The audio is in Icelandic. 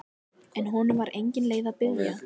En honum var engin leið að biðja.